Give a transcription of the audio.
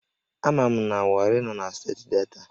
Ama m na Warri nọ na steeti Delta